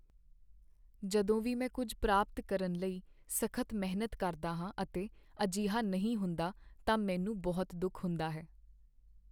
ਜਦੋਂ ਵੀ ਮੈਂ ਕੁੱਝ ਪ੍ਰਾਪਤ ਕਰਨ ਲਈ ਸਖ਼ਤ ਮਿਹਨਤ ਕਰਦਾ ਹਾਂ ਅਤੇ ਅਜਿਹਾ ਨਹੀਂ ਹੁੰਦਾ ਤਾਂ ਮੈਨੂੰ ਬਹੁਤ ਦੁੱਖ ਹੁੰਦਾ ਹੈ।